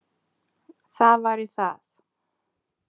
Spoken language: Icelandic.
Það væri það